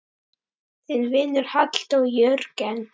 Þinn vinur, Halldór Jörgen.